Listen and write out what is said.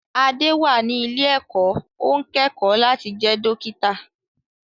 Adé wà ní ilé-ẹ̀kọ́, ó ń kẹ́kọ̀ọ́ láti jẹ́ dókítà.